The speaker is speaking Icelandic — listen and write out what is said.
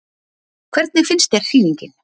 Hvernig finnst þér sýningin?